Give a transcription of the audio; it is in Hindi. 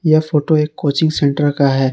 यह फोटो एक कोचिंग सेंटर का है।